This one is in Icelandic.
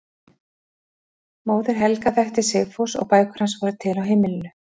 Móðir Helga þekkti Sigfús og bækur hans voru til á heimilinu.